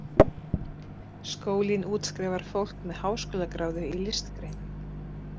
Skólinn útskrifar fólk með háskólagráðu í listgreinum.